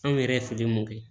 Anw yɛrɛ ye fili mun kɛ